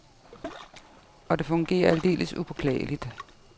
Og det fungerer aldeles upåklageligt.